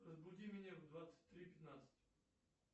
разбуди меня в двадцать три пятнадцать